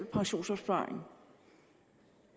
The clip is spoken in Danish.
pensionsopsparingen